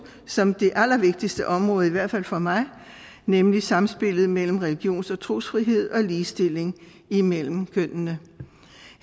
som det allervigtigste område i hvert fald for mig nemlig sammenspillet mellem religions og trosfrihed og ligestilling imellem kønnene